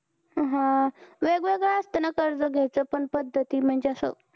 हा वेगवेगळ्या असता ना कर्ज घ्यायच्या पण पद्धती? म्हणजे असं